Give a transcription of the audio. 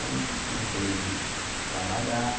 Aí comecei a trabalhar.